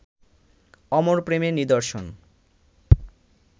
অমর প্রেমের নিদর্শন